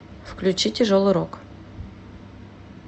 включи тяжелый рок